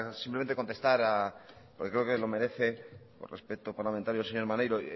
simplemente contestar porque creo que lo merece por respeto parlamentario al señor maneiro